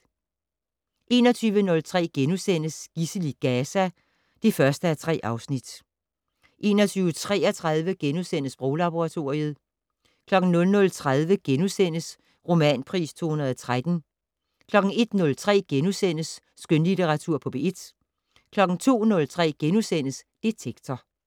21:03: Gidsel i Gaza (1:3)* 21:33: Sproglaboratoriet * 00:30: Romanpris 2013 * 01:03: Skønlitteratur på P1 * 02:03: Detektor *